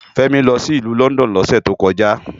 Femi lò si ilù Lòndòn lòsè tókòjá